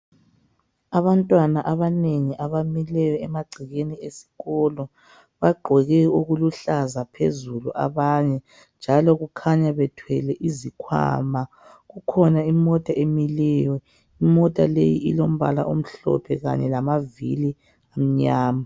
Abantwana abanengi abamileyo emagcekeni esikolo. Bagqoke okuluhlaza phezulu abanye, njalo kukhunya bethwele izikhwama. Kukhona imota emileyo elombala omhlophe lamavili amnyama.